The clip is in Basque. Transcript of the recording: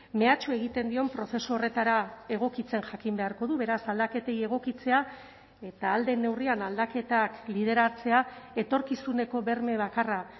mehatxu egiten dion prozesu horretara egokitzen jakin beharko du beraz aldaketei egokitzea eta ahal den neurrian aldaketak lideratzea etorkizuneko berme bakarra